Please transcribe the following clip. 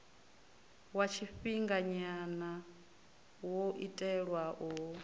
wa tshifhinganya wo itelwa u